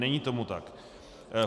Není tomu tak.